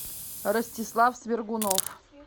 ростислав свергунов